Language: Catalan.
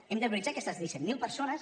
hem de prioritzar aquestes disset mil persones